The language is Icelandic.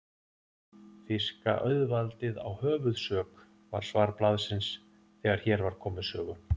Þýska auðvaldið á höfuðsök, var svar blaðsins, þegar hér var komið sögu.